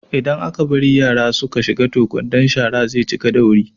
Idan aka bari yara su ka shiga toh kwandon sharan ze cika da wuri